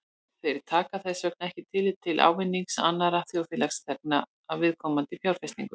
Þeir taka þess vegna ekki tillit til ávinnings annarra þjóðfélagsþegna af viðkomandi fjárfestingu.